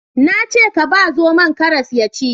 Na ce ka ba zomon karas ya ci